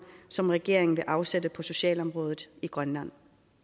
som regeringen vil afsætte på socialområdet i grønland